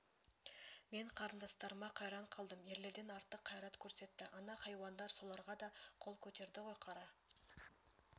мен қарындастарыма қайран қалдым ерлерден артық қайрат көрсетті ана хайуандар соларға да қол көтерді ғой қара